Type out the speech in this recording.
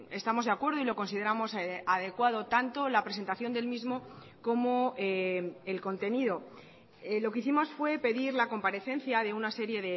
estamos de acuerdo y lo consideramos adecuado tanto la presentación del mismo como el contenido lo que hicimos fue pedir la comparecencia de una serie